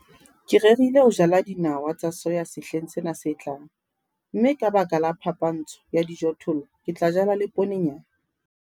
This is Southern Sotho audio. Ke rerile ho jala dinawa tsa soya sehleng sena se tlang, mme ka baka la phapantsho ya dijothollo ke tla jala le ponenyana.